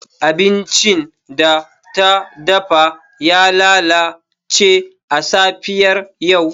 Abincin da ta dafa ya lalace a safiyar yau.